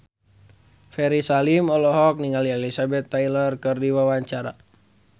Ferry Salim olohok ningali Elizabeth Taylor keur diwawancara